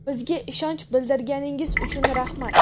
Bizga ishonch bildirganingiz uchun rahmat!.